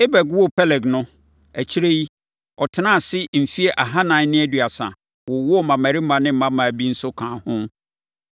Eber woo Peleg no, akyire yi, ɔtenaa ase mfeɛ ahanan ne aduasa, wowoo mmammarima ne mmammaa bi nso kaa ho.